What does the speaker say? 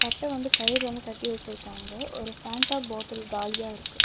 கட்ட வந்து கயிர்ல வந்து கட்டி வெச்சிருக்காங்க ஒரு பேண்டா பாட்டில் காலியாருக்கு.